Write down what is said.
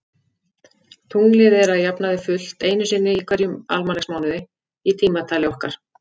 Tunglið er að jafnaði fullt einu sinni í hverjum almanaksmánuði í tímatali okkar.